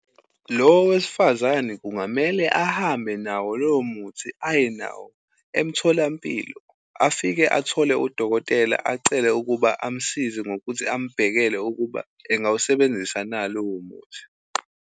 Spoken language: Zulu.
Lo wesifazane kungamele ahambe nawo lowo muthi, aye nawo emtholampilo. Afike athole udokotela, acele ukuba amsize ngokuthi ambhekele ukuba engawusebenzisa na lowo muthi.